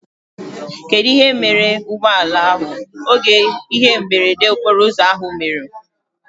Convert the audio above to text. Kedụ ihe mere ụgbọala ahụ oge ihe mberede okporo ụzọ ahụ mere?